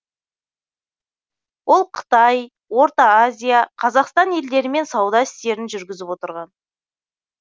ол қытай орта азия қазақстан елдерімен сауда істерін жүргізіп отырған